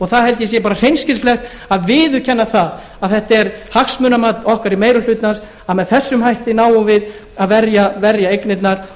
það held ég bara að sé hreinskilnislegt að viðurkenna það að þetta er hagsmunamat okkar í meiri hlutanum að með þessum hætti náum við að verja eignirnar